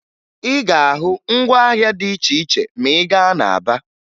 Ị ga-ahụ ngwaahịa dị iche iche ma ị gaa na Aba